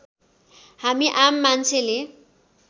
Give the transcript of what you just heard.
हामी आम मान्छेले